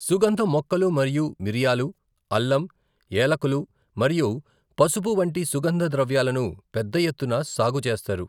సుగంధ మొక్కలు మరియు మిరియాలు, అల్లం, ఏలకులు మరియు పసుపు వంటి సుగంధ ద్రవ్యాలను పెద్ద ఎత్తున సాగు చేస్తారు.